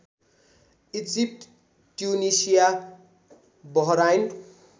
Egypt Tunisia Bahrain